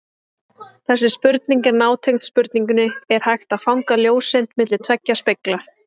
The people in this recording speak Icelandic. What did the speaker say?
Þessi spurning er nátengd spurningunni Er hægt að fanga ljóseind milli tveggja spegla?